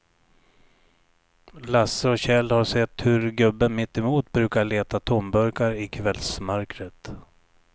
Lasse och Kjell har sett hur gubben mittemot brukar leta tomburkar i kvällsmörkret.